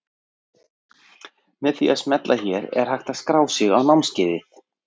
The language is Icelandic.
Með því að smella hér er hægt að skrá sig á námskeiðið.